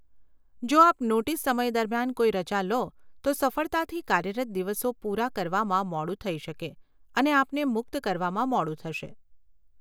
જો આપ નોટીસ સમય દરમિયાન કોઈ રજા લો, તો સફળતાથી કાર્યરત દિવસો પુરા કરવામાં મોડું થઇ શકે અને આપને મુક્ત કરવામાં મોડું થશે.